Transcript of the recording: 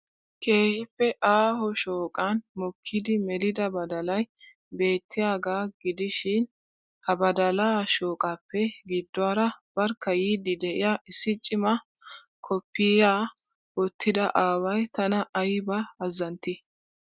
Keehippe aahoo shooqqan mokkidi melida badalay beettiyagaa gidishshiin ha badalaa shooqaappe gidduwaara barkka yiidi de'iya issi cimma koppiyiyaa wottida aaway tana aybba azzanttii!.